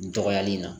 Dɔgɔyali in na